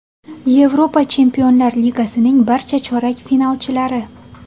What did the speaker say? Yevropa Chempionlar Ligasining barcha chorak finalchilari.